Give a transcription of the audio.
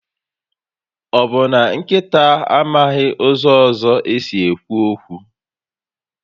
Ọbụ na nkịta amaghị ụzọ ọzọ esi ekwu okwu?